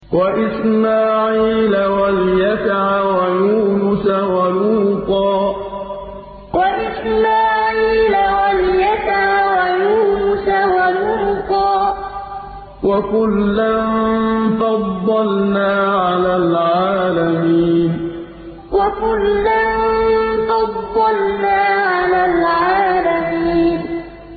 وَإِسْمَاعِيلَ وَالْيَسَعَ وَيُونُسَ وَلُوطًا ۚ وَكُلًّا فَضَّلْنَا عَلَى الْعَالَمِينَ وَإِسْمَاعِيلَ وَالْيَسَعَ وَيُونُسَ وَلُوطًا ۚ وَكُلًّا فَضَّلْنَا عَلَى الْعَالَمِينَ